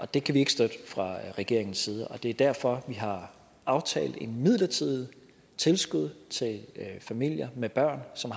det kan vi ikke støtte fra regeringens side og det er derfor vi har aftalt et midlertidigt tilskud til familier med børn som